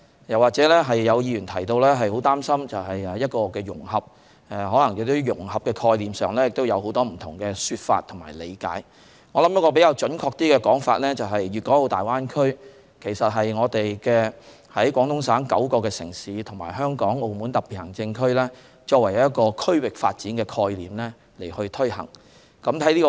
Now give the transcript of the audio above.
有議員表示擔心融合，融合在概念上可能有很多不同說法和理解，我認為一種比較準確的說法是，粵港澳大灣區其實是廣東省9個城市，以及香港和澳門兩個特別行政區，以一個區域發展的概念去推行融合。